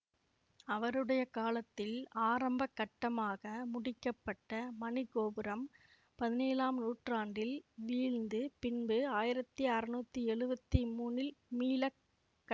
அவருடைய காலத்தில் ஆரம்ப கட்டமாக முடிக்க பட்ட மணி கோபுரம் பதினேழாம் நூற்றாண்டில் வீழ்ந்து பின்பு ஆயிரத்தி அறுநூத்தி எழுவத்தி மூனில் மீள கட்